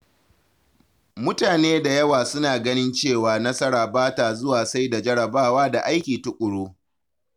Mutane da yawa suna ganin cewa nasara ba ta zuwa sai da jarabawa da aiki tuƙuru.